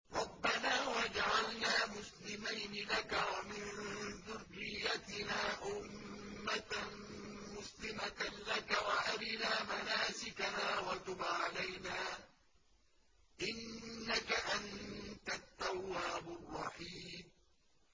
رَبَّنَا وَاجْعَلْنَا مُسْلِمَيْنِ لَكَ وَمِن ذُرِّيَّتِنَا أُمَّةً مُّسْلِمَةً لَّكَ وَأَرِنَا مَنَاسِكَنَا وَتُبْ عَلَيْنَا ۖ إِنَّكَ أَنتَ التَّوَّابُ الرَّحِيمُ